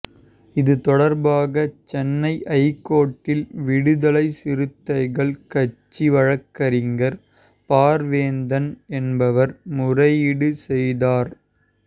இது தொடர்பாக சென்னை ஐகோர்ட்டில் விடுதலைச் சிறுத்தைகள் கட்சி வழக்கறிஞர் பார்வேந்தன் என்பவர் முறையீடு செய்தார்